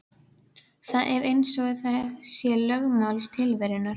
Það er eins og það sé lögmál tilverunnar.